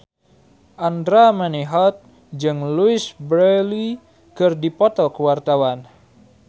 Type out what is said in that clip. Andra Manihot jeung Louise Brealey keur dipoto ku wartawan